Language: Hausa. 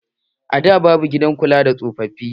A da babu gidan kula da tsofafi.